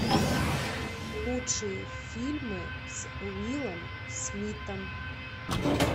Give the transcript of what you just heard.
лучшие фильмы с уиллом смитом